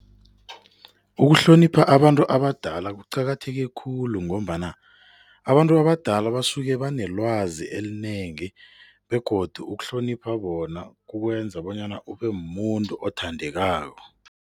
Ukuhlonipha abantu abadala kuqakatheke khulu ngombana abantu abadala basuke banelwazi elinengi begodu ukuhlonipha bona kukwenza bonyana ubemumuntu othandekako.